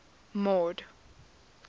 mord